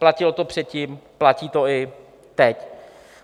Platilo to předtím, platí to i teď.